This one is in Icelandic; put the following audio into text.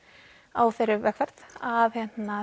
á þeirri vegferð að